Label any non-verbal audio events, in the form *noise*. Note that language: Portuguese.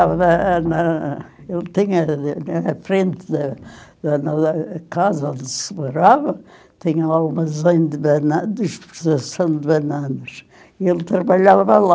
Eh na, eu tinha na frente da da lá casa onde se morava, tinha umas *unintelligible* de *unintelligible* e ele trabalhava lá.